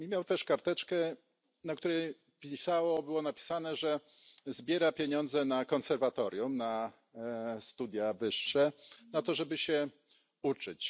Miał też karteczkę, na której było napisane, że zbiera pieniądze na konserwatorium, na studia wyższe, na to, żeby się uczyć.